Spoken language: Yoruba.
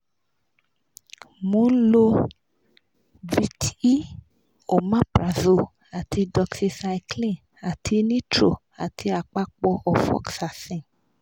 mò ń lo vit e omaprazole ati doxicycline ati nitro ati àpapọ ofoxacin